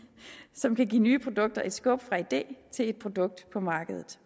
som kan give nye produkter et skub fra idé til et produkt på markedet